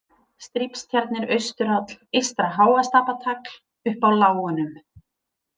Strípstjarnir, Austuráll, Eystra-Háastapatagl, Upp á lágunum